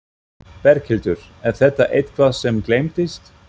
Berghildur: Er þetta eitthvað sem gleymdist?